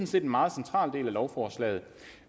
set en meget central del af lovforslaget